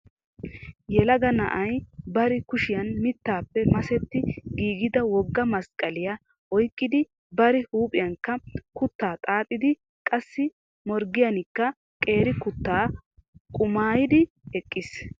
Yelaga na'ay bari kushiyaan mittappe maseti giigida wogga masqqaliyaa oyqqidibari huuphiyankka kutta xaaxxidi qassi morggiyankka qeeri kutaa qumayddi eqqiis .